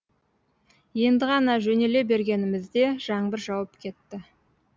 енді ғана жөнеле бергенімізде жаңбыр жауып кетті